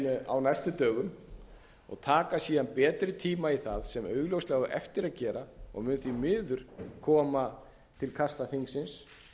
á næstu dögum og taka síðan betri tíma í það sem augljóslega á eftir að gera og mun því miður koma til kasta þingsins